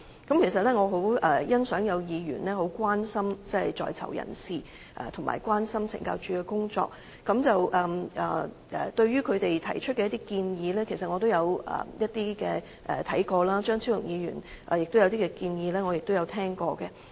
我其實很欣賞有議員關心在囚人士及懲教署的工作，對於他們提出的建議，其實我也有視察；至於張超雄議員的建議，我也有聽聞。